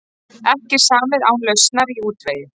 Ekki samið án lausnar í útvegi